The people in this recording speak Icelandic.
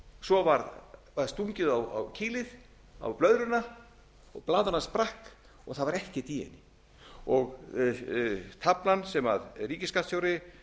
svo varð stungið á dulið á blöðruna og blaðran sprakk og það var ekkert í henni taflan sem ríkisskattstjóri og